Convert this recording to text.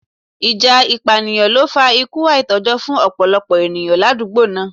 Ìjà ìpànìyàn ló fa ikú àìtójó fún ọ̀pọ̀lọpọ̀ ènìyàn l'àdúgbò náà.